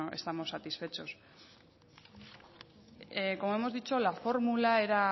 estamos satisfechos como hemos dicho la fórmula era